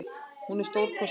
Hún er stórkostleg.